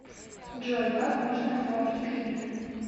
джой как можно оформить кредит